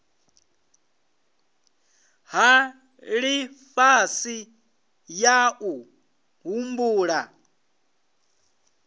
ya lifhasi ya u humbula